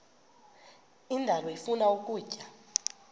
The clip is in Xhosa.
indalo ifuna ukutya